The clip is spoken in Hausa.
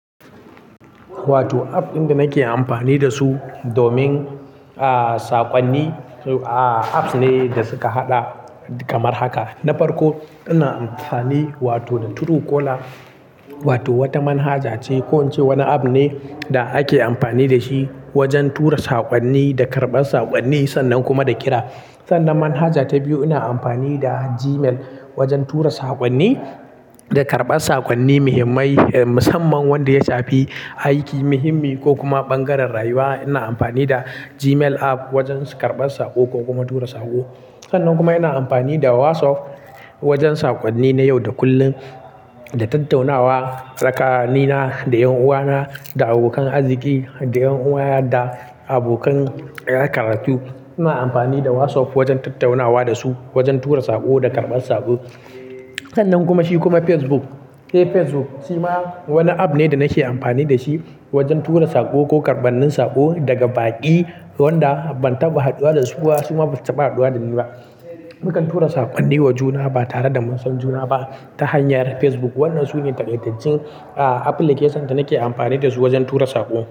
Wato app ɗin da nake amfani da su domin, ah, saƙonni, ah, apps ne da suka haɗa kamar haka. Na farko ina amfani wato da Truecaller wato wata manhaja ce ko wani app ne da ake amfani da shi wajen tura saƙonni da karɓar saƙonni sannan kuma da kira. Sannan manhaja ta biyu ina amfani da Gmail wajen tura saƙonni da karɓar saƙonni muhimmai, eh, musamman wanda ya shafi aiki muhimmi ko kuma ɓangaren rayuwa. Ina amfani da Gmail app wajen karɓar saƙo ko kuma tura saƙo. Sannan kuma ina amfani da WhatsApp wajen saƙonni na yau da kullum, da tattaunawa tsakanina da 'yan uwana, da abokan arziki, da 'yan uwana da abokan makaranta. Ina amfani da WhatsApp wajen tattaunawa da su, wajen tura saƙo da karɓar saƙo. Sannan kuma shi kuma Facebook. Eh, Facebook shi ma wani app ne da nake amfani da shi wajen tura saƙo ko karɓar saƙo daga baƙi wanda ban taɓa haɗuwa da su ba sai ba su taɓa haɗuwa da ni ba. Mukan tura saƙonni wa juna ba tare da mun san juna ba ta hanyar Facebook. Wadannan su ne taƙaitaccen, ah, application da nake amfani da su wajen tura saƙo.